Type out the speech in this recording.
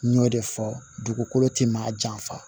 N y'o de fɔ dugukolo tɛ maa janfa